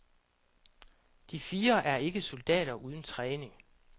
De fire er ikke soldater uden træning.